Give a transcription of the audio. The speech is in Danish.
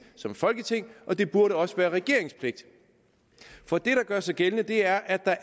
som folketing og det burde også være regeringens pligt for det der gør sig gældende er at der